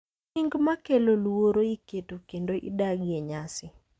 Nying’ ma kelo luoro iketo kendo idagi e nyasi.